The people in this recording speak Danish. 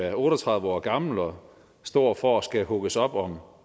er otte og tredive år gammelt og står for at skulle hugges op om